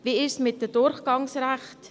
Wie ist es mit den Durchgangsrechten?